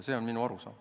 See on minu arusaam.